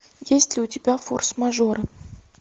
есть ли у тебя форс мажоры